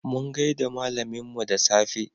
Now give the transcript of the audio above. Mun gaida malaminmu da safe.